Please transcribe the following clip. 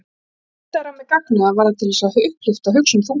Ef þú nuddaðir á mér gagnaugað var það til að upplyfta hugsun þungri.